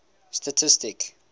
statistic